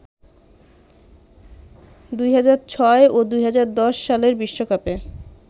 ২০০৬ ও ২০১০ সালের বিশ্বকাপে